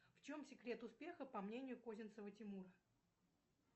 в чем секрет успеха по мнению козинцева тимура